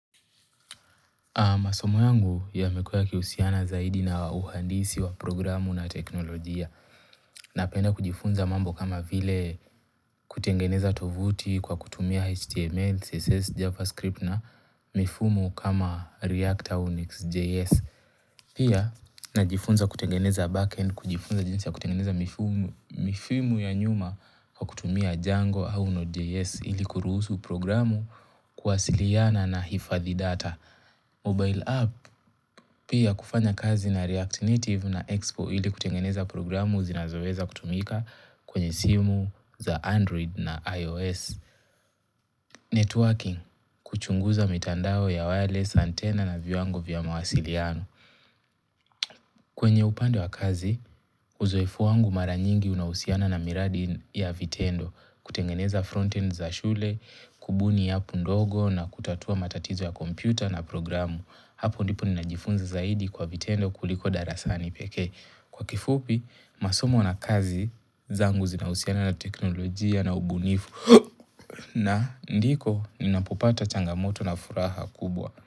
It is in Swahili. Masomo yangu yamekua yakihusiana zaidi na uhandisi wa programu na teknolojia Napenda kujifunza mambo kama vile kutengeneza tovuti kwa kutumia HTML, CSS, JavaScript na mifumu kama React or Nix.js Pia najifunza kutengeneza backend kujifunza jinsi ya kutengeneza mifumu mifyumu ya nyuma kwa kutumia Django au Node.js ili kuruhusu programu kuwasiliana na hifadhi data Mobile app pia kufanya kazi na React Native na Expo ili kutengeneza programu zinazoweza kutumika kwenye simu za Android na iOS. Networking kuchunguza mitandao ya wireless antena na viwango vya mawasiliano. Kwenye upande wa kazi, uzoefu wangu mara nyingi unahusiana na miradi ya vitendo kutengeneza frontend za shule, kubuni appu ndogo na kutatua matatizo ya kompyuta na programu. Hapo ndipo ninajifunza zaidi kwa vitendo kuliko darasani pekee kwa kifupi masomo na kazi zangu zinahusiana na teknolojia na ubunifu na ndiko ninapopata changamoto na furaha kubwa.